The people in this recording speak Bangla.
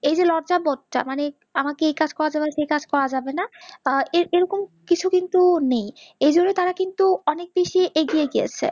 এই যে লজ্জা বজ্জা মানে আমাকে এই কাজ করা যাবে না সেই কাজ করা যাবে না, এরকম কিছু কিন্তু নেই, এইজন্য তারা কিন্তু অনেক বেশি এগিয়ে গিয়েছে